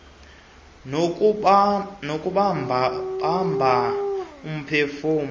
nokubamba bamba umphefumlo